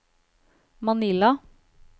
Manila